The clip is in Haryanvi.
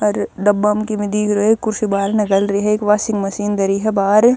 अर डब्बा म किमे दिख रयो हएक कुर्सी बाहरणह घल री हएक वाशिंग मशीन धरी ह बाहर।